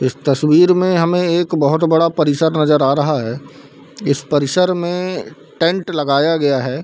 इस तस्वीर में हमें एक बहुत बड़ा परिसर नजर आ रहा है इस परिसर में टेंट लगाया गया है।